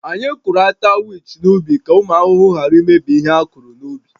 Anyị kụrụ ata wich n’ubi ka ụmụ ahụhụ ghara imebi ihe a kụrụ n’ubi